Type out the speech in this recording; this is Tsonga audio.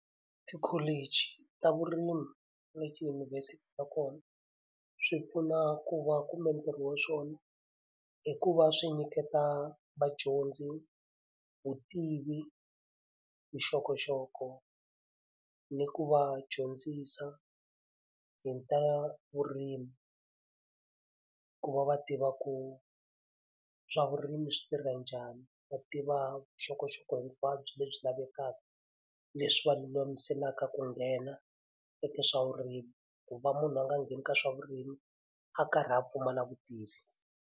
Tikholichi ta vurimi na tidyunivhesiti ta kona swi pfuna ku va u kumbe ntirho ya swona i ku va swi nyiketa vadyondzi vutivi, vuxokoxoko, ni ku va dyondzisa hi ta vurimi. Ku va va tiva ku swa vurimi swi tirha njhani, va tiva vuxokoxoko hinkwabyo lebyi lavekaka, leswi va lulamiselaka ku nghena eka swa vurimi. Ku va munhu a nga ngheni ka swa vurimi a karhi a pfumala vutivi.